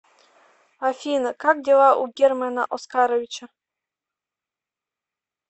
афина как дела у германа оскаровича